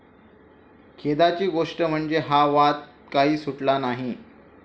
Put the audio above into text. खेदाची गोष्ट म्हणजे, हा वाद काही सुटला नाही.